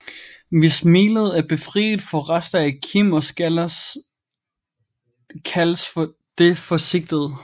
Hvis melet er befriet for rester af kim og skaller kaldes det for sigtet